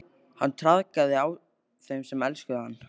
Hann traðkaði á þeim sem elskuðu hann.